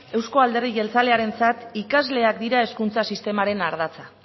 euzko alderdi jeltzalearentzat ikasleak dira hezkuntza sistemaren ardatza